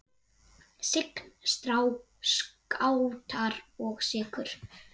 Sign, Skátar og Sykur.